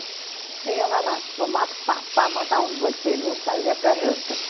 Você ia lá na no mato, pá, pá, matavam dois perus e trazia para a janta.